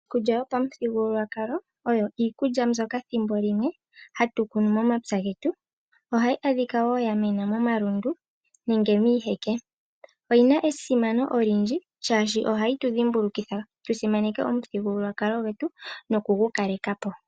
Iikulya yopamuthigululwakalalo oyo iikulya mbyoka thimbolimwe hatu kunu momapya getu. Ohayi adhika wo yamena momalundu nenge miiheke ,oyina esimano olindji shaashi ohayi tu dhimbulukitha tu simaneke omuthigululwakalo gwetu nokugukaleka po.